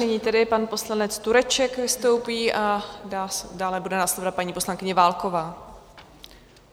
Nyní tedy pan poslanec Tureček vystoupí a dále bude následovat paní poslankyně Válková.